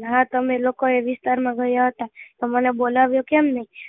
હતા તમે લોકો એ વિસ્તાર માં ગયા હતા તો મને બોલાવ્યો કેમ નહીં